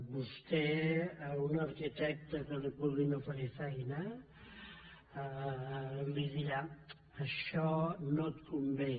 vostè a un arquitecte que li puguin oferir feina li dirà això no et convé